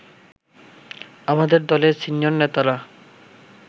আমাদের দলের সিনিয়র নেতারা